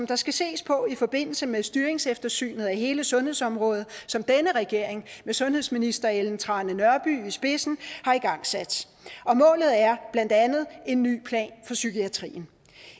der skal ses på i forbindelse med styringseftersynet af hele sundhedsområdet som denne regering med sundhedsminister ellen trane nørby i spidsen har igangsat og målet er blandt andet en ny plan for psykiatrien